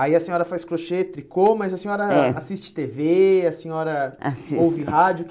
Aí a senhora faz crochê, tricô, mas a senhora é assiste tê vê, a senhora, assisto, ouve rádio.